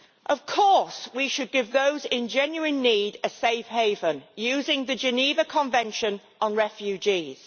Of course we should give those in genuine need a safe haven using the Geneva Convention on Refugees.